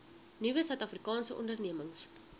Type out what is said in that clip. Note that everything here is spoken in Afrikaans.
nuwe suidafrikaanse ondernemings